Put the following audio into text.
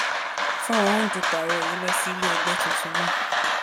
fúnra òǹdúpọ ààrẹ yìí lọ sí ilé ẹgbẹ tuntun náà